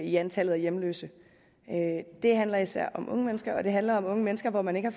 i antallet af hjemløse det handler især om unge mennesker og det handler om unge mennesker hvor man ikke